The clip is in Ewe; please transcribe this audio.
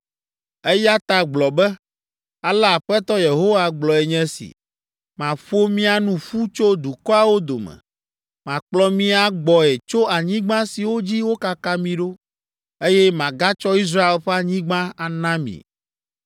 “Eya ta gblɔ be, ‘Ale Aƒetɔ Yehowa gblɔe nye si. Maƒo mia nu ƒu tso dukɔawo dome, makplɔ mi agbɔe tso anyigba siwo dzi wokaka mi ɖo, eye magatsɔ Israel ƒe anyigba ana mi.’